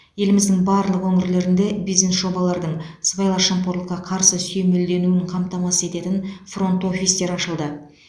еліміздің барлық өңірлерінде бизнес жобалардың сыбайлас жемқорлыққа қарсы сүйемелденуін қамтамасыз ететін фронт офистер ашылды